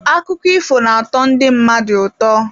Akụkọ ifo na-atọ ndị mmadụ ụtọ.